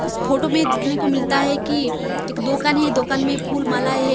इस फोटो में दिखने को मिलता है कि एक दोकान है दोकान में फूल मालाएं है।